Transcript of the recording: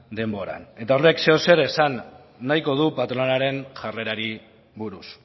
denboran eta horrek zerbait esan nahiko du patronalaren jarrerari buruz